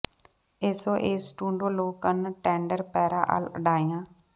ਏਸੋ ਏਸ ਟੂਡੋ ਲੋ ਕੰਨ ਟੈਂਡਰ ਪੈਰਾ ਐਲ ਡਾਈਆ